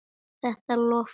Þetta lofaði góðu.